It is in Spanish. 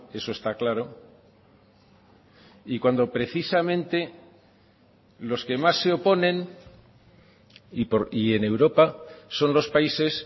eso está claro y cuando precisamente los que más se oponen y en europa son los países